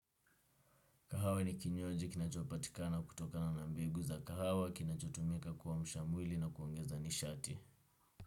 Kahawa ni kinywaji kinachopatikana kutokana na mbegu za kahawa kinachotumika kuamsha mwili na kuongeza nishati.